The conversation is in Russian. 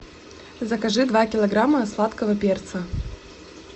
закажи два килограмма сладкого перца